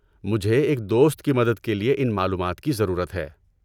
مجھے ایک دوست کی مدد کے لیے ان معلومات کی ضرورت ہے۔